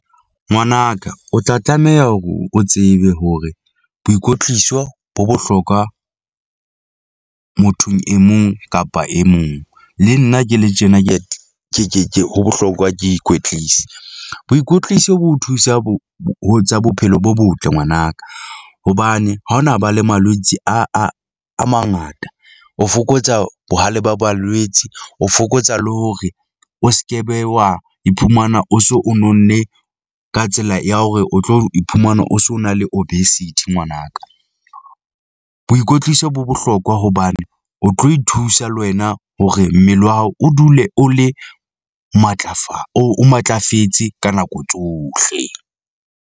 Ngwanaka o tla tlameha hore o tsebe hore boikwetliso bo bohlokwa mothong e mong kapa e mong. Le nna ke le tjena, ke ke ke ke ho bohlokwa ke ikwetlise. Boikwetliso bo thusa bo ho tsa bophelo bo botle ngwanaka, hobane ha hona ba le malwetse a a a mangata. O fokotsa bohale ba balwetse, o fokotsa le hore o sekebe, wa iphumana o so o nonne ka tsela ya hore o tlo iphumana o so o na le obesity ngwanaka . Boikwetliso bo bohlokwa hobane o tlo ithusa le wena hore mmele wa hao o dule o le matlafala oo o matlafetse ka nako tsohle.